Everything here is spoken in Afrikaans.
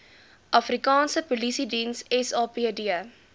afrikaanse polisiediens sapd